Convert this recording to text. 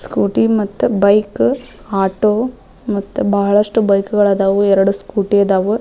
Scooty ಮತ್ತು bike auto ಬಹಳಷ್ಟು bike ಗಳಾದವು ಎರಡು ಸ್ಕೂಟಿ ಅದಾವು.